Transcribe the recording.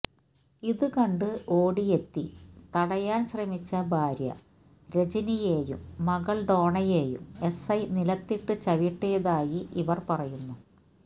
ഇത് കണ്ട് ഒടിയെത്തി തടയാന് ശ്രമിച്ച ഭാര്യ രജനിയേയും മകള് ഡോണയേയും എസ്ഐ നിലത്തിട്ട് ചവിട്ടിയതായി ഇവര് പറയുന്നു